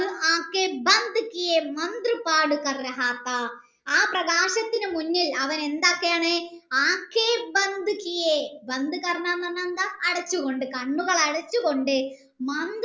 ആ പ്രക്ഷത്തിന് മുന്നിൽ അവൻ എന്താ ചെയ്യണേ എന്ന് പറഞ്ഞാൽ എന്താ അടചു കൊണ്ട് കണ്ണുകൾ അടച്ചു കൊണ്ട്